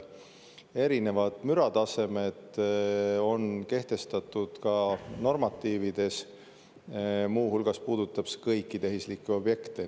Erinevad müratasemed on normatiivides kehtestatud, see puudutab kõiki tehislikke objekte.